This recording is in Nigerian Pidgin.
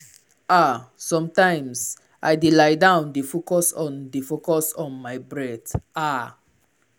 ah sometimes i dey lie down dey focus on dey focus on my breath. ah